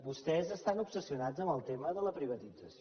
vostès estan obsessionats amb el tema de la privatització